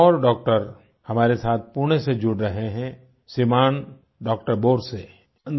एक और डाक्टर हमारे साथ पुणे से जुड़ रहे हैं श्रीमान डाक्टर बोरसे